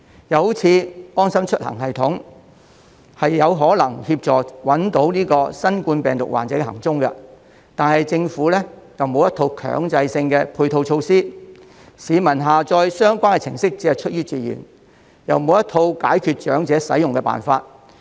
又例如"安心出行"系統，它有可能協助找出新冠病毒患者的行蹤，但政府沒有一套強制性的配套措施，市民只是出於自願下載相關程式，亦沒有一套解決長者使用的辦法。